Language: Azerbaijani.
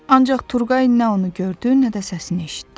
Ancaq Turqay nə onu gördü, nə də səsini eşitdi.